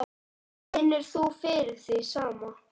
Finnur þú fyrir því sama?